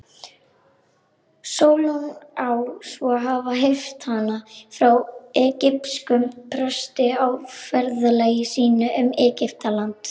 Sólon á svo að hafa heyrt hana frá egypskum presti á ferðalagi sínu um Egyptaland.